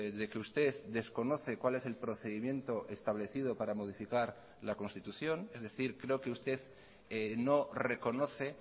de que usted desconoce cuál es el procedimiento establecido para modificar la constitución es decir creo que usted no reconoce